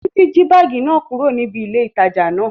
Títí jí báàgì náà kúrò níbi ilé ìtajà náà